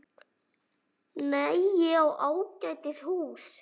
Nei, ég á ágætis hús.